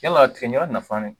Yala tigɛ ɲaka nafanen